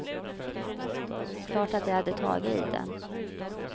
Klart att jag hade tagit i den.